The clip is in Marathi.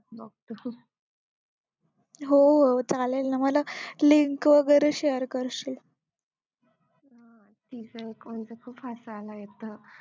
हो चालेल ना मला link वगैरे share करशील